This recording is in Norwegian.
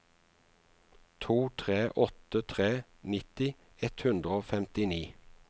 to tre åtte tre nitti ett hundre og femtini